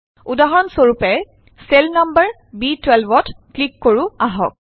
উদাহৰণ স্বৰূপে cell number B12 ত ক্লিক কৰো আহক